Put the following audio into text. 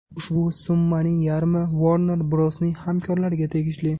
Ushbu summaning yarmi Warner Bros’ning hamkorlariga tegishli.